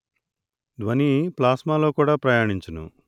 ధ్వని ప్లాస్మా లో కూడా ప్రయాణించును